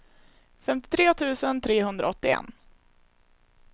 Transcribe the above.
femtiotre tusen trehundraåttioett